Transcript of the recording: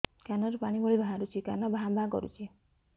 କାନ ରୁ ପାଣି ଭଳି ବାହାରୁଛି କାନ ଭାଁ ଭାଁ କରୁଛି